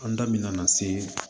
An da bɛ na se